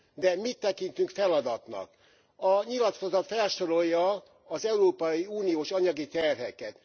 De mit tekintünk feladatnak? A nyilatkozat felsorolja az európai uniós anyagi terheket.